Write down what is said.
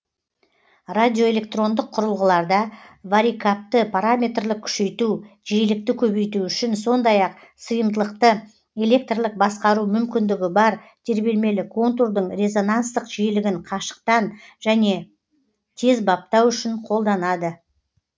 радиоэлектрондық құрылғыларда варикапты параметрлік күшейту жиілікті көбейту үшін сондай ақ сыйымдылықты электрлік басқару мүмкіндігі бар тербелмелі контурдың резонансттық жиілігін қашықтан және тез баптау үшін қолданады